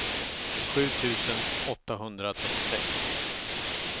sju tusen åttahundratrettiosex